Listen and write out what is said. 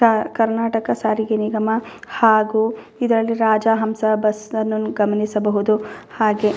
ತಾ ಕರ್ನಾಟಕ ಸಾರಿಗೆ ನಿಗಮ ಹಾಗು ಇದರಲ್ಲಿ ರಾಜಹಂಸ ಬಸ್ಸನ್ನು ಗಮನಿಸಬಹುದು ಹಾಗೆ --